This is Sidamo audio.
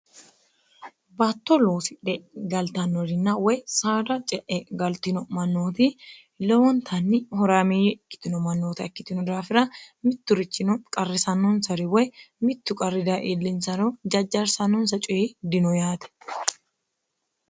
batto loosidhe galtannorinna woy saada ce'e galtino mannooti lewontanni horaameeyye ikkitino mannoota ikkitino daafira mitturichino qarrisannonsari woy mittu qarri daye iillinsaro jajjarsannonsa coyi dino yaate.